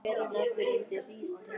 Og svo var hún í sjöunda bekk.